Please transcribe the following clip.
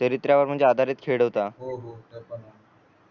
हो हो